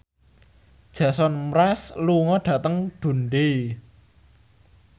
Jason Mraz lunga dhateng Dundee